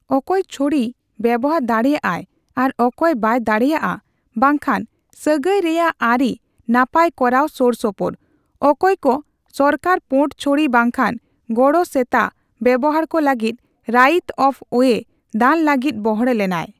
ᱚᱠᱚᱭ ᱪᱷᱚᱲᱤ ᱵᱮᱣᱦᱟᱨ ᱫᱟᱲᱮᱭᱟᱜ ᱟᱭ ᱟᱨ ᱚᱠᱚᱭ ᱵᱟᱭ ᱫᱟᱲᱮᱭᱟᱜᱼᱟ ᱵᱟᱝ ᱠᱷᱟᱱ ᱥᱟᱹᱜᱟᱹᱭ ᱨᱮᱭᱟᱜ ᱟᱹᱨᱤ ᱱᱟᱯᱟᱭ ᱠᱚᱨᱟᱣ ᱥᱳᱨᱥᱳᱯᱚᱨ ᱾ ᱚᱠᱚᱭ ᱠᱚ ᱥᱚᱨᱠᱟᱨ ᱯᱳᱸᱰ ᱪᱷᱚᱲᱤ ᱵᱟᱝᱠᱷᱟᱱ ᱜᱚᱲᱚ ᱥᱮᱛᱟ ᱵᱮᱣᱦᱟᱨ ᱠᱚ ᱞᱟᱹᱜᱤᱫ ᱨᱟᱭᱤᱛᱼᱚᱯᱷᱼᱳᱭᱮ ᱫᱟᱱ ᱞᱟᱹᱜᱤᱫ ᱵᱚᱲᱦᱮ ᱞᱮᱱᱟᱭ ᱾